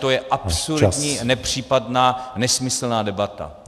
To je absurdní, nepřípadná, nesmyslná debata.